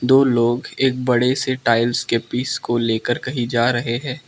दो लोग एक बड़े से टाइल्स के पीस को लेकर कहीं जा रहे है।